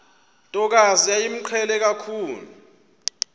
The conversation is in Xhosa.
ntokazi yayimqhele kakhulu